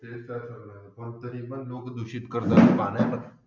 तरीपण लोक दूषित करतात पाण्याला